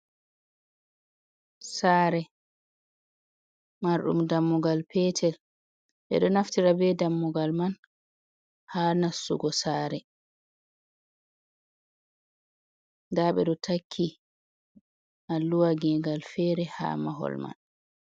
Sare, marɗum dammugal petel. Ɓe ɗo naftira be dammugal man ha nastugo saare. Nda ɓe ɗo takki alluha gegal fere ha mahol man.